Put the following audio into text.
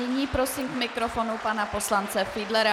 Nyní prosím k mikrofonu pana poslance Fiedlera.